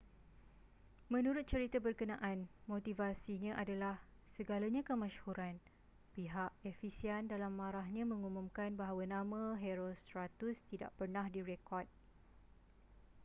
menurut cerita berkenaan motivasinya adalah segalanya kemasyhuran pihak ephesian dalam marahnya mengumumkan bahwa nama herostratus tidak pernah direkod